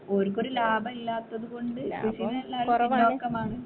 ഓൽക്കൊരു ലാഭല്ലാത്തത് കൊണ്ട് കൃഷിയിൽ എല്ലാവരും പിന്നോക്കമാണ്